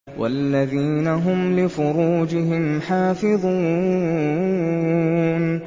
وَالَّذِينَ هُمْ لِفُرُوجِهِمْ حَافِظُونَ